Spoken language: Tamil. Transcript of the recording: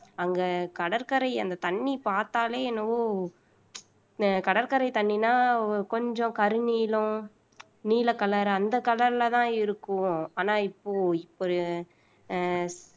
அங்க கடற்கரை அந்த தண்ணி பார்த்தாலே என்னவோ கடற்கரை தண்ணின்னா கொஞ்சம் கருநீலம் நீல color அந்த color லதான் இருக்கும் ஆனா இப்போ இப்ப அஹ்